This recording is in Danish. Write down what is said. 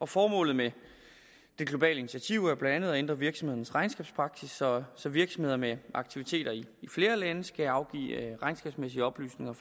formålet med det globale initiativ er blandt andet at ændre virksomhedernes regnskabspraksis så så virksomheder med aktiviteter i flere lande skal afgive regnskabsmæssige oplysninger